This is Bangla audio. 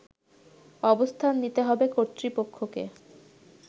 অবস্থান নিতে হবে কর্তৃপক্ষকে